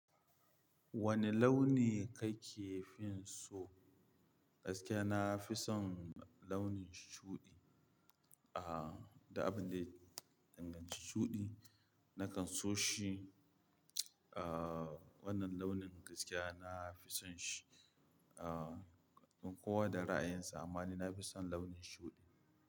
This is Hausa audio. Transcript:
Wane launi kake fin so? Gaskiya na fi son launin shuɗi. Ah, da abin da ya danganci shuɗi, na kan so shi. Ah, wannan launin gaskiya na fi son shi. Ah, don kowa da ra'ayinsa amma ni nafi son launin shuɗi.